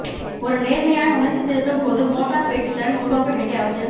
ஒரு நேர்மறையான உணர்ச்சி திருத்தும் போது மோட்டார் பேச்சுத் திறன் உருவாக்க வேண்டிய அவசியம்